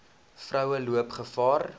vroue loop gevaar